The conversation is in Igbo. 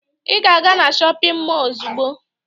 Ị ga-aga na shọpịn mọọ ozugbo!